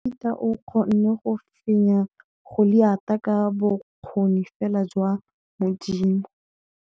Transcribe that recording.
Dafita o kgonne go fenya Goliata ka bokgoni fela jwa Modimo.